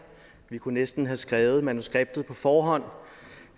vi kunne næsten have skrevet i manuskriptet på forhånd